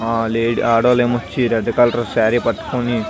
ఆ లేడ ఆడవాళ్లు ఏమో వచ్చి రెడ్ కలర్ సారీ పట్టుకొని --